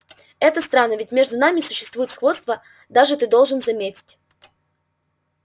это странно ведь между нами существует сходство даже ты должен заметить